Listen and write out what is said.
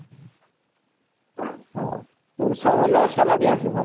হ্যাঁ পরিশ্রম হলেও salary আছে ভালো